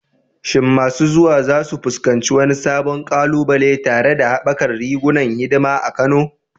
Shin masu zuwa za su fuskanci wani sabon ƙalubale tare da haɓakar rigunan hidima a Kano?